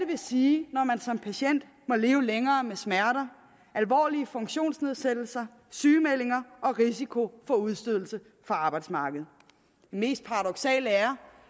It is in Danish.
vil sige når man som patient må lever længere med smerter alvorlige funktionsnedsættelser sygemeldinger og risiko for udstødelse fra arbejdsmarkedet det mest paradoksale er